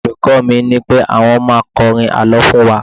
olùkó mi nipé àwọn ma kọrin àlọ fún wa